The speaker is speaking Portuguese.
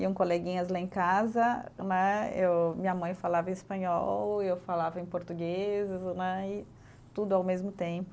Iam coleguinhas lá em casa né, eu, minha mãe falava espanhol, eu falava em português né, e tudo ao mesmo tempo.